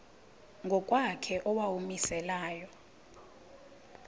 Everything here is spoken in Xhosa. ngokwakhe owawumise layo